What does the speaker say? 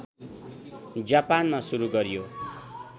जापानमा सुरू गरियो